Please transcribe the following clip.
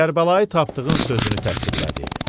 Kərbəlayı tapdığın sözünü təsdiqlədi.